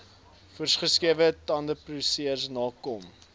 voorsgeskrewe tenderprosedures nakom